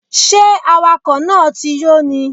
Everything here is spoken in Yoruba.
Ṣé awakọ̀ náà ti yó ni?